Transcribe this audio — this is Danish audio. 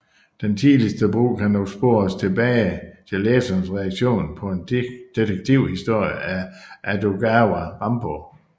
Den tidligste brug kan dog spores tilbage til læsernes reaktioner på en detektivhistorie af Edogawa Rampo